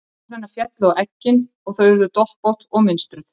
Tár hennar féllu á eggin og þau urðu doppótt og mynstruð.